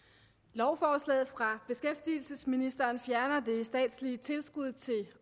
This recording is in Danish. lovforslaget fra beskæftigelsesministeren fjerner det statslige tilskud til